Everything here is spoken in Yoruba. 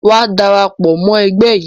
Wa darapọ̀ mọ ẹgbẹ́ yìí!